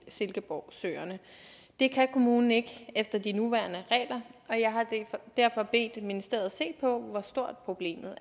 silkeborgsøerne det kan kommunen ikke efter de nuværende regler og jeg har derfor bedt ministeriet se på hvor stort problemet